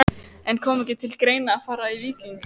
En kom ekki til greina að fara í Víking?